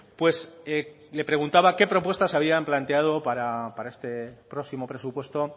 pues le preguntaba qué propuestas habían planteado para este próximo presupuesto